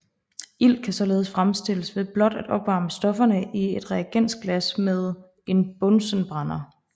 Ilt kan således fremstilles ved blot at opvarme stofferne i et reagensglas med en bunsenbrænder